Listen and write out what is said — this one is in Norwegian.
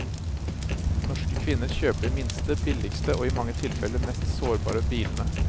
Norske kvinner kjøper de minste, billigste og i mange tilfelle mest sårbare bilene.